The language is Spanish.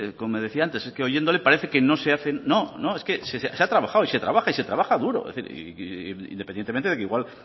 como decía antes es que oyéndole parece que no se hacen no no es que se ha trabajado se trabaja y se trabaja duro independientemente de que igual